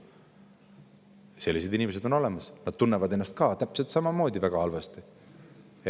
Sellised inimesed on ka olemas, nemad tunnevad ennast täpselt samamoodi väga halvasti.